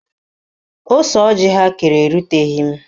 Ose ọjị ha kere eruteghi m